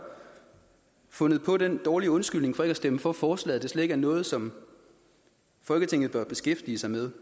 fundet på den dårlige undskyldning for ikke at stemme for forslaget at det slet ikke noget som folketinget bør beskæftige sig med